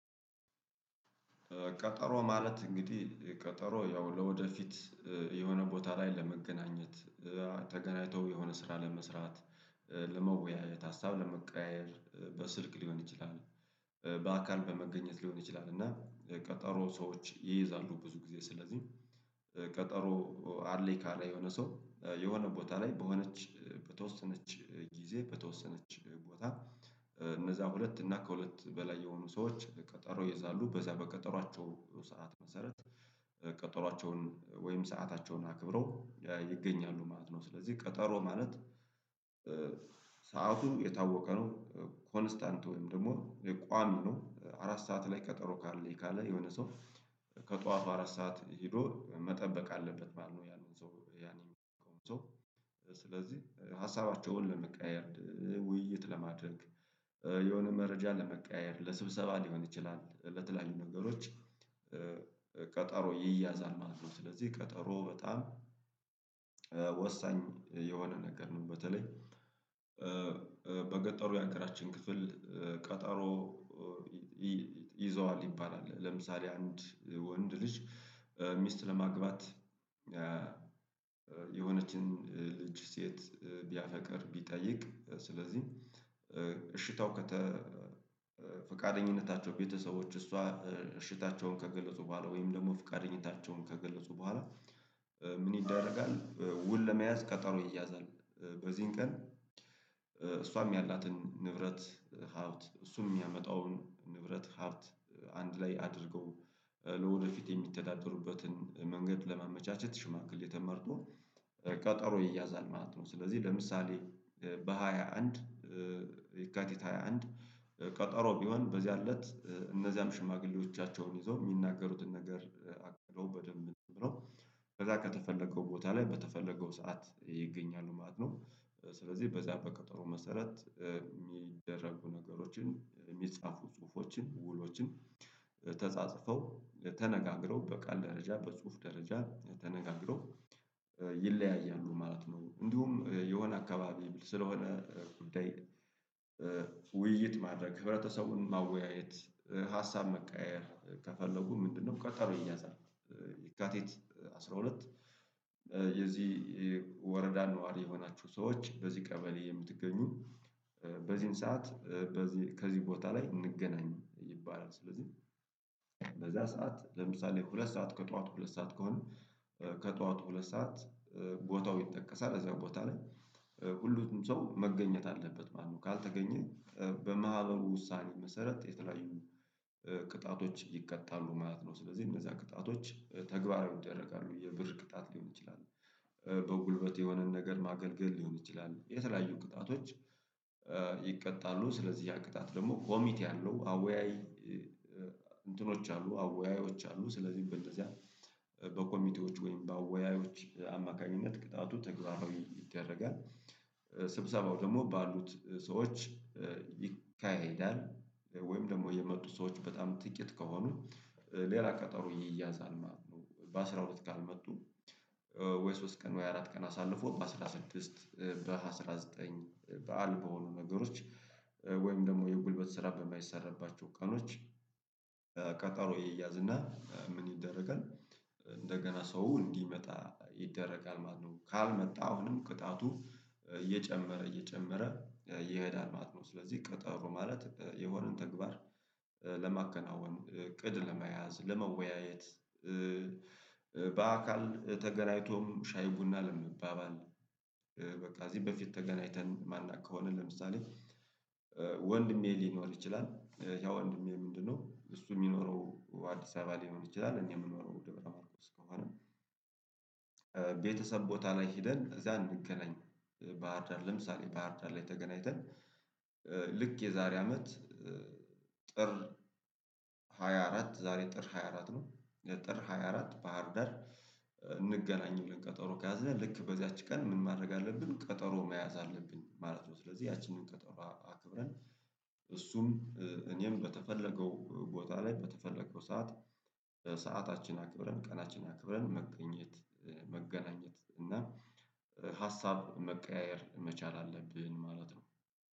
ቀጠሮ ማለት እንግዲህ ቀጠሮ ያው ለወደፊት የሆነ ቦታ ላይ ለመገናኘት ተገናኝተው የሆነ ስራ ለመስራት ለመወያየት ሀሳብ ለመቀያየር በስልክ ሊሆን ይችላል። በአካል በመገኘት ሊሆን ይችላል እና ቀጠሮ ሰዎች ይይዛሉ ብዙ ጊዜ ስለዚህ። ቀጠሮ አለኝ ካለ የሆነ ሰው የሆነ ቦታ ላይ በሆነች በተወሰነች ጊዜ በተወሰነች ቦታ እነዛ ሁለት እና ከሁለት በላይ የሆኑ ሰዎች ቀጠሮ ይይዛሉ በዛ በቀጠሯቸው ሰዓት መሰረት ቀጠሯቸውን ወይም ሰአታቸውን አክብረው ይገኛሉ ማለት ነው። ስለዚህ ቀጠሮ ማለት። ሰዓቱ የታወቀ ነው ኮንስታንት ወይም ደግሞ የቋሚው አራት ሰዓት ላይ ቀጠሮ አለኝ ካለ የሆነ ሰው ከጠዋቱ አራት ሰዓት ሄዶ መጠበቅ አለበት ማለት ነው። ያንን ሰው ስለዚህ ሀሳባቸውን ለመቀያየር ውይይት ለማድረግ የሆነ መረጃ ለመቀያየር ለስብሰባ ሊሆን ይችላል ለተለያዩ ነገሮች። ቀጠሮ ይያዛል ማለት ነው። ስለዚህ ቀጠሮ በጣም ወሳኝ የሆነ ነገር ነው። በተለይ በገጠሩ ያገራችን ክፍል ቀጠሮ ይዘዋል ይባላል ለምሳሌ አንድ ወንድ ልጅ ሚስት ለማግባት የሆነችን ልጅ ሴት ቢያፈቅር ቢጠይቅ ስለዚህ እሽታው ፈቃደኝነታቸው ቤተሰቦች እሷ እሽታቸውን ከገለፁ በኋላ ወይም ደግሞ ፍቃደኝነታቸውን ከገለፁ በኋላ። ምን ይደረጋል? ውል ለመያዝ ቀጠሮ ይያዛል በዚህን ቀን እሷም ያላትን ንብረት ሀብት እሱም የሚያመጣውን ንብረት ሀብት አንድ ላይ አድርገው ለወደፊት የሚተዳደሩበትን መንገድ ለማመቻቸት ሽማግሌ ተመርጦ ቀጠሮ ይያዛል ማለት ነው። ስለዚህ ለምሳሌ በሃያ አንድ ይካቲት ሃያ አንድ ቀጠሮ ቢሆን በዚያን እለት እነዚያም ሽማግሌዎቻቸውን ይዘው የሚናገሩትን ነገር አቅርበው በደንብ ነው በዛ ከተፈለገው ቦታ ላይ በተፈለገው ሰዓት ይገኛሉ ማለት ነው። ስለዚህ በዚያ በቀጠሮ መሰረት የሚደረጉ ነገሮችን የሚጻፉ ጽሁፎችን ውሎችን ተጻጽፈው ተነጋግረው በቃል ደረጃ በጽሁፍ ደረጃ ተነጋግረው ይለያያሉ ማለት ነው። እንዲሁም የሆነ አካባቢ ስለሆነ ጉዳይ ውይይት ማድረግ ህብረተሰቡን ማወያየት ሀሳብ መቀያየር ከፈለጉ ምንድነው ቀጠሮ ይያዛል። ይካቲት አስራ ሁለት የዚህ ወረዳ ነዋሪ የሆናችሁ ሰዎች በዚህ ቀበሌ የምትገኙ በዚህን ሰዓት ከዚህ ቦታ ላይ እንገናኝ ይባላል። ስለዚህ በዛ ሰዓት ለምሳሌ ሁለት ሰዓት ከጠዋት ሁለት ሰዓት ከሆነ ከጧት ሁለት ሰዓት ቦታው ይጠቀሳል እዛ ቦታ ላይ ሁሉም ሰው መገኘት አለበት ማለት ነው። ካልተገኘ በማህበሩ ውሳኔ መሰረት የተለያዩ ቅጣቶች ይቀጣሉ ማለት ነው። ስለዚህ እነዛ ቅጣቶች ተግባራዊ ይደረጋሉ የብር ቅጣት ሊሆን ይችላል። በጉልበት የሆነን ነገር ማገልገል ሊሆን ይችላል የተለያዩ ቅጣቶች። ይቀጣሉ ስለዚህ ያ ቅጣት ደግሞ ኮሚቴ አለው አወያይ እንትኖች አሉ አወያዮች አሉ። ስለዚህ በእንደዚያ በኮሚቴዎች ወይም በአወያዮች አማካኝነት ቅጣቱ ተግባራዊ ይደረጋል። ስብሰባው ደግሞ ባሉት ሰዎች ይካሄዳል። ወይም ደግሞ የመጡት ሰዎች በጣም ጥቂት ከሆኑ ሌላ ቀጠሮ ይያዛል ማለት ነው። በአሥራ ሁለት ካልመጡ ወይ ሶስት ቀን ወይ አራት ቀን አሳልፎ በአስራ ስድስት በአሥራ ዘጠኝ በዓል በሆኑ ነገሮች ወይም ደግሞ የጉልበት ስራ በማይሰራባቸው ቀኖች ቀጠሮዬ ይያዝና ምን ይደረጋል? እንደገና ሰው እንዲመጣ ይደረጋል ማለት ነው። ካልመጣ አሁንም ቅጣቱ እየጨመረ እየጨመረ ይሄዳል ማለት ነው። ስለዚህ ቀጠሮ ማለት የሆነን ተግባር ለማከናወን እቅድ ለመያዝ ለመወያየት። በአካል ተገናኝቶም ሻይ ቡና ለመባባል በቃ እዚህ በፊት ተገናኝተን ማናቅ ከሆነ ለምሳሌ ወንድሜ ሊኖር ይችላል። ያ ወንድሜ ምንድነው እሱ የሚኖረው አዲስ አበባ ሊኖር ይችላል እኔ የምኖረው ደብረ ማርቆስ ከሆነ። ቤተሰብ ቦታ ላይ ሄደን እዚያ እንገናኝ ባህርዳር ለምሳሌ ባህርዳር ላይ ተገናኝተን። ልክ የዛሬ አመት ጥር ሃያ አራት ዛሬ ጥር ሃያ አራት ነው የጥር ሃያ አራት ባህር ዳር እንገናኝለን። ብለን ቀጠሮ ከያዝነን ልክ በዚያች ቀን ምን ማድረግ አለብን ቀጠሮ መያዝ አለብን ማለት ነው። ስለዚህ ያቺንን ቀጠሮ አክብረን እሱም እኔም በተፈለገው ቦታ ላይ በተፈለገው ሰዓት በሰአታችን አክብረን ቀናችን አክብረን መገኘት መገናኘት እና ሀሳብ መቀያየር መቻል አለብን ማለት ነው።